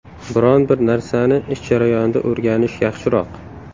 Biron bir narsani ish jarayonida o‘rganish yaxshiroq.